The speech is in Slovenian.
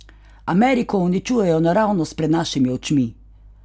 Ameriko uničujejo naravnost pred našimi očmi!